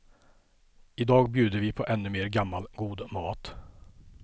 I dag bjuder vi på ännu mer gammal god mat.